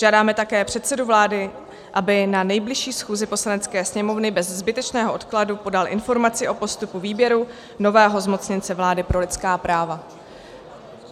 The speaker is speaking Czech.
Žádáme také předsedu vlády, aby na nejbližší schůzi Poslanecké sněmovny bez zbytečného odkladu podal informaci o postupu výběru nového zmocněnce vlády pro lidská práva.